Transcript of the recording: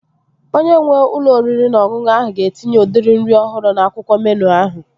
Onye nwee ụlọ oriri na ọṅụṅụ ahụ ga-etinye udiri nri ọhụrụ n'akwụkwọ meenụ ahụ